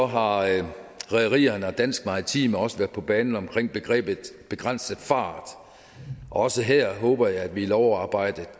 har rederierne rederierne og danske maritime også været på banen omkring begrebet begrænset fart også her håber jeg at vi i lovarbejdet